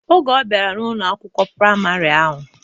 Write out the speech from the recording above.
Oge ọbiara n'Ụlọ akwụkwọ praịmarị ahụ.